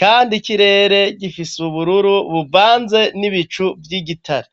kandi ikirere gifise ubururu bubanze n'ibicu vy'igitare.